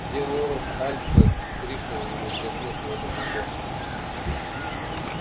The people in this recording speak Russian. где лорд альфред крикнул ему тряхнув его за плечо